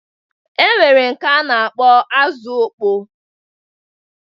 E nwere nke a na-akpọ azụ ọkpọ